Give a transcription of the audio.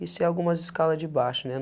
Isso é algumas escala de baixo, né?